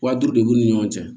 Wa duuru de b'u ni ɲɔgɔn cɛ